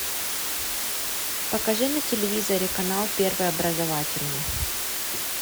покажи на телевизоре канал первый образовательный